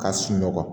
Ka sunɔgɔ